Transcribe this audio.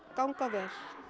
ganga vel